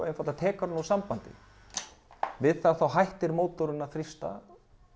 tekur hann úr sambandi við það hættir mótorinn að þrýsta